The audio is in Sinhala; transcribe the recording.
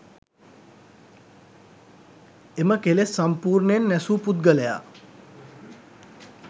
එම කෙලෙස් සම්පුර්ණයෙන් නැසූ පුද්ගලයා